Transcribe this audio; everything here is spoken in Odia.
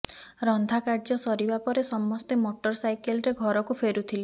ରନ୍ଧା କାର୍ଯ୍ୟ ସରିବା ପରେ ସମସ୍ତେ ମୋଟର ସାଇକେଲରେ ଘରକୁ ଫେରୁଥିଲେ